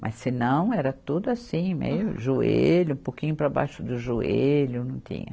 Mas se não, era tudo assim, meio joelho, um pouquinho para baixo do joelho, não tinha.